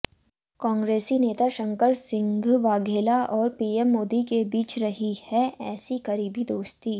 कांग्रेसी नेता शंकर सिंह वाघेला और पीएम मोदी के बीच रही है ऐसी करीबी दोस्ती